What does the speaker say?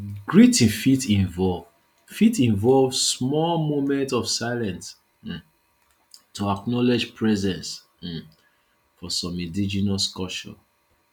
greeting fit involve fit involve small moment of silence um to acknowledge presence um for some indigenous cultures